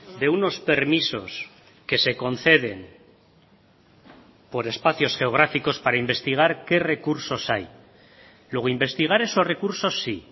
de unos permisos que se conceden por espacios geográficos para investigar qué recursos hay luego investigar esos recursos sí